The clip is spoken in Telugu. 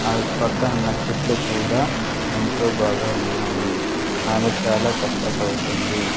ఆ పక్కన ఉన్న చెట్లు కూడా ఎంతో బాగా ఉన్నాయి ఆమె చాలా కష్టపడుతుంది.